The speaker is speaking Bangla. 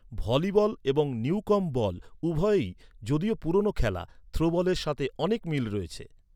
ভলিবল এবং নিউকম্ব বল উভয়ই, যদিও পুরানো খেলা, থ্রোবলের সাথে অনেক মিল রয়েছে।